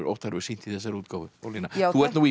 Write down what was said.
Óttar hefur sýnt í þessari útgáfu Ólína þú ert nú í